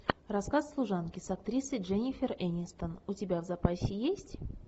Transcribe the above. рассказ служанки с актрисой дженнифер энистон у тебя в запасе есть